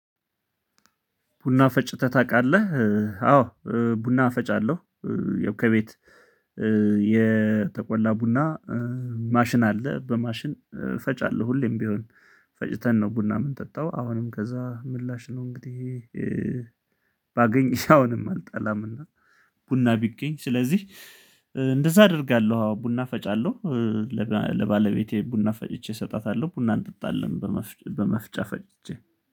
ቡና ፈጭተህ ታውቃለህ? አዎ ቡና ፈጭ አለሁ። ያው ከቤት የተቆላ ቡና ማሽን አለ በማሽን ፈጫለሁ ሁሌም ቢሆን ፈጭተን ነው። ቡና ምን ጠጣው አሁንም ከዛ ምላሽ ነው። እንግዲህ ባገኝስ አሁንም አልጠላምና ቡና ቢገኝ ስለዚህ እንደዛ አደርጋለሁ። ቡና ፈጫለሁ። ለባለቤቴ ቡና ፈጭቼ እሰጣታለሁ ቡና እንጠጣለን። በመፍጫ ፈጭቼ